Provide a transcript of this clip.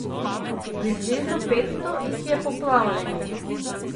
Približno petsto jih je poplavljenih.